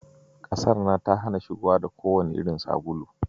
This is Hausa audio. Kasar nan ta hana shigowa da kowanne irin sabulu.